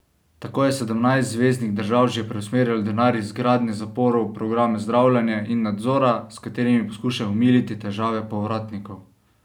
Tako je sedemnajst zveznih držav že preusmerilo denar iz gradnje zaporov v programe zdravljenja in nadzora, s katerimi poskušajo omiliti težave povratnikov.